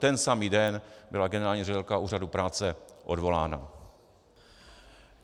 Ten samý den byla generální ředitelka Úřadu práce odvolána.